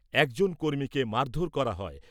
এক জন কর্মীকে মারধোর করা হয়।